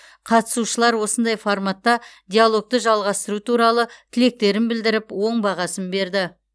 қатысушылар осындай форматта диалогты жалғастыру туралы тілектерін білдіріп оң бағасын берді